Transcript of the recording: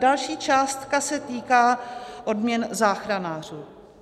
Další částka se týká odměn záchranářů.